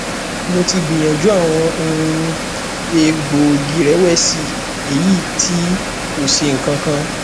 mo ti gbiyanju awọn um egboogiirẹwẹsi eyiti ko ṣe nkan kan